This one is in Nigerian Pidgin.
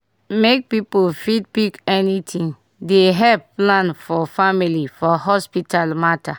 make people fit pick anything dey help plan for family for hospital mata